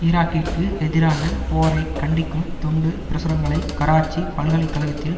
ஈராக்கிற்கு எதிரான போரை கண்டிக்கும் துண்டு பிரசுரங்களை கராச்சி பல்கலை கழகத்தில்